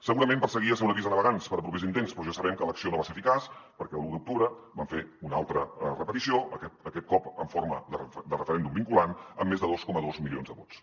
segurament perseguia ser un avís a navegants per a propers intents però ja sabem que l’acció no va ser eficaç perquè l’un d’octubre vam fer una altra repetició aquest cop en forma de referèndum vinculant amb més de dos coma dos milions de vots